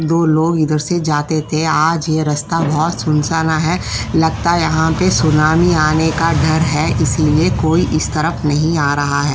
दो लोग इधर से जाते थे आज ये रस्ता बहुत सुनसाना है लगता है यहाँ पर सुनामी आने का डर है इसलिए कोई इस तरफ नहीं आ रहा है।